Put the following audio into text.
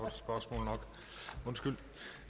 nu ved